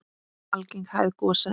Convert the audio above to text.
Algeng hæð gosa er